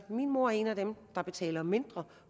min mor er en af dem der betaler mindre